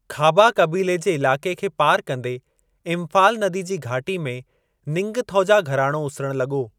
खाबा कबीले जे इलाक़े खे पार कंदे, इंफ़ाल नदी जी घाटी में निंगथौजा घराणो उसिरिणु लॻो।